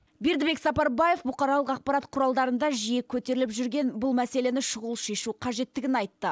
бердібек сапарбаев бұқаралық ақпарат құралдарында жиі көтеріліп жүрген бұл мәселені шұғыл шешу қажеттігін айтты